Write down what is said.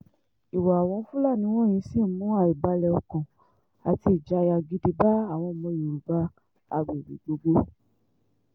ìwà àwọn fúlàní wọ̀nyí sì ń mú àìbalẹ̀-ọkàn àti ìjayà gidi bá àwọn ọmọ yorùbá agbègbè gbogbo